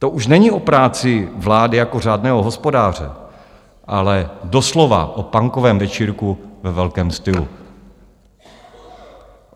To už není o práci vlády jako řádného hospodáře, ale doslova o punkovém večírku ve velkém stylu.